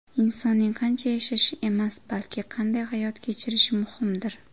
Insonning qancha yashashi emas, balki qanday hayot kechirishi muhimdir.